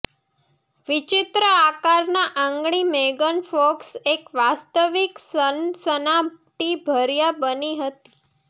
વિચિત્ર આકારના આંગળી મેગન ફોક્સ એક વાસ્તવિક સનસનાટીભર્યા બની હતી